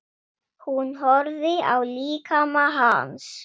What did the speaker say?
Hún horfði á líkama hans.